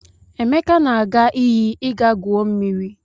Emeka na-aga iyi ịga gwuo mmiri.